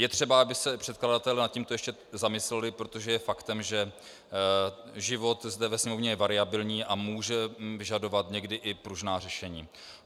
Je třeba, aby se předkladatelé nad tímto ještě zamysleli, protože je faktem, že život zde ve Sněmovně je variabilní a může vyžadovat někdy i pružná řešení.